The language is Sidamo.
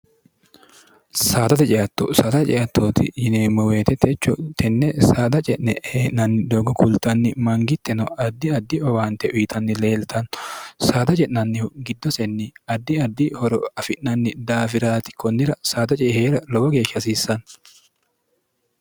saadate ce'atto saada ce'attooti yineemmo woyete techo tenne saada ce'ne hee'nanni doogo kultanni mangitteno addi addi owaante uyitanni leeltannno saada ce'nannihu giddosenni addi addi horo afi'nanni daafiraati konnira saada ce'e heera lowo geeshsha hasiissanno.